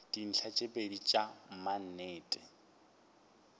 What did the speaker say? dintlha tše pedi tša maknete